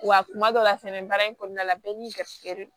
Wa kuma dɔ la fɛnɛ baara in kɔnɔna la bɛɛ n'i garisigɛ de don